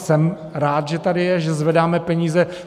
Jsem rád, že tady je, že zvedáme peníze.